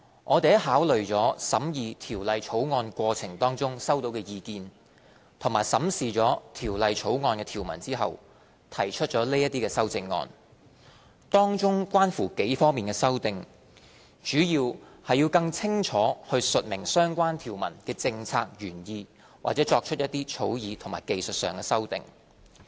我們在考慮了審議《條例草案》過程中收到的意見，並審視了《條例草案》的條文後，提出這些修正案，當中關乎幾方面的修訂，主要是更清楚述明相關條文的政策原意或作出一些草擬或技術修訂。